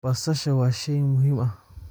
Basasha waa shay muhiim ah.